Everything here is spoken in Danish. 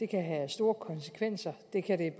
kan have store konsekvenser det kan det